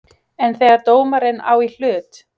En þegar dómarinn á í hlut?